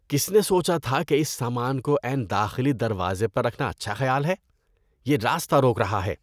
کس نے سوچا تھا کہ اس سامان کو عین داخلی دروازے پر رکھنا اچھا خیال ہے؟ یہ راستہ روک رہا ہے۔